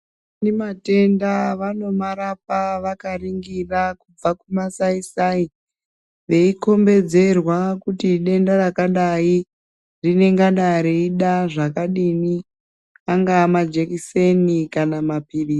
Vane matenda vanomarapa vakaningira kubva kumasaisai veikombedzerwa kuti denda rakadai rinengada reida zvakadai , angava majekiseni kana mapirizi.